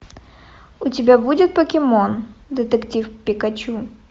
у тебя будет покемон детектив пикачу